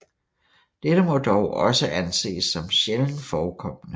Dette må dog også anses som sjældent forekommende